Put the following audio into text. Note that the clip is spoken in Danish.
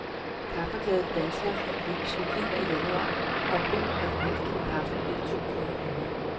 Kaffeglade danskere vil i slutningen af januar opleve, at et halvt kilo kaffe bliver to kroner dyrere.